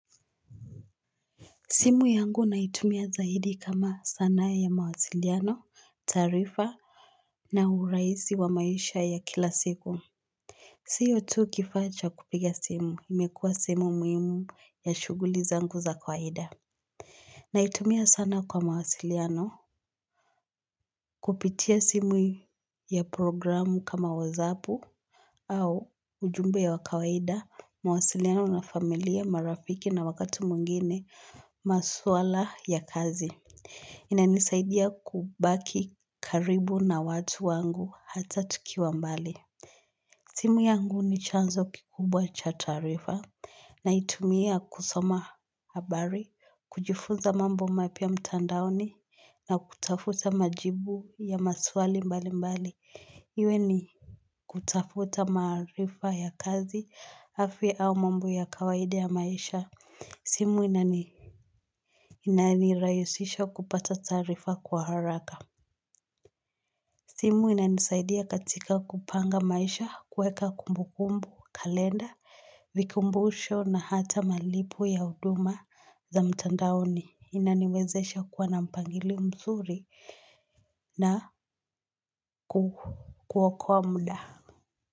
Simu yangu naitumia zaidi kama sanaa ya mawasiliano, taarifa na urahisi wa maisha ya kila siku. Siyo tu kifaa cha kupiga simu. Imekua simu muhimu ya shughuli zangu za kawaida. Naitumia sana kwa mawasiliano kupitia simu ya programu kama wozapu au ujumbe ya kawaida mawasiliano na familia marafiki na wakati mwingine maswala ya kazi. Inanisaidia kubaki karibu na watu wangu hata tukiwa mbali. Simu yangu ni chanzo kikubwa cha taarifa. Na itumia kusoma habari. Kujifunza mambo mapya mtandaoni. Na kutafuta majibu ya maswali mbali mbali. Iwe ni kutafuta maarifa ya kazi afya au mambo ya kawaida ya maisha. Simu inani inanirahisisha kupata taarifa kwa haraka. Simu inanisaidia katika kupanga maisha kuweka kumbukumbu kalenda vikumbusho na hata malipo ya huduma za mtandaoni. Inaniwezesha kuwa na mpangilio mzuri na kuokoa muda.